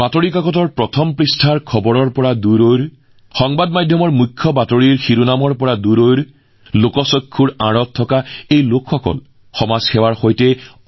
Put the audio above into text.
সংবাদ মাধ্যমৰ শিৰোনামৰ পৰা আঁতৰত বাতৰি কাকতৰ প্ৰথম পৃষ্ঠাৰ পৰা আঁতৰত এইসকল লোক কোনো লাইমলাইট নোহোৱাকৈ সমাজ সেৱাত নিয়োজিত হৈ পৰিছিল